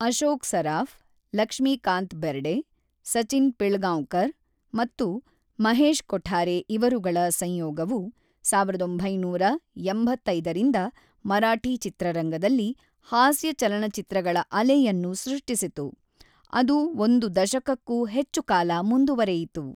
ಅಶೋಕ್ ಸರಾಫ್, ಲಕ್ಷ್ಮೀಕಾಂತ್ ಬೆರ್ಡೆ, ಸಚಿನ್ ಪಿಳ್ಗಾಂವ್ಕರ್‌ ಮತ್ತು ಮಹೇಶ್ ಕೊಠಾರೆ ಇವರುಗಳ ಸಂಯೋಗವು ಸಾವಿರದ ಒಂಬೈನೂರ ಎಂಬತ್ತೈದರಿಂದ ಮರಾಠಿ ಚಿತ್ರರಂಗದಲ್ಲಿ "ಹಾಸ್ಯ ಚಲನಚಿತ್ರಗಳ ಅಲೆ"ಯನ್ನು ಸೃಷ್ಟಿಸಿತು, ಅದು ಒಂದು ದಶಕಕ್ಕೂ ಹೆಚ್ಚು ಕಾಲ ಮುಂದುವರೆಯಿತು.